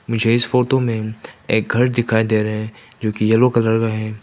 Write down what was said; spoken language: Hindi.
मुझे इस फोटो में एक घर दिखाई दे रहे जोकि येलो कलर का है।